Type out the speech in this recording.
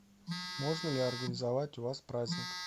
можно ли организовать у вас праздник